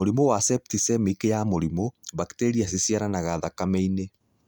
Mũrimũ wa septicemic ya mũrimũ, bacteria ciciaranaga thakameinĩ.